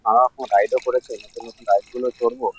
নানারকম রাইড -ও করেছে নতুন নতুন রাইড -গুলোও চড়বো--